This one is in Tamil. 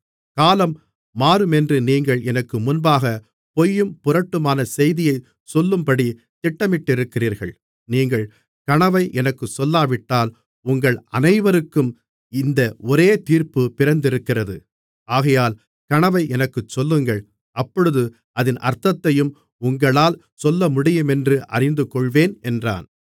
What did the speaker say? காலம் மாறுமென்று நீங்கள் எனக்கு முன்பாக பொய்யும் புரட்டுமான செய்தியைச் சொல்லும்படி திட்டமிட்டிருக்கிறீர்கள் நீங்கள் கனவை எனக்குச் சொல்லாவிட்டால் உங்கள் அனைவருக்கும் இந்த ஒரே தீர்ப்பு பிறந்திருக்கிறது ஆகையால் கனவை எனக்குச் சொல்லுங்கள் அப்பொழுது அதின் அர்த்தத்தையும் உங்களால் சொல்லமுடியுமென்று அறிந்துகொள்வேன் என்றான்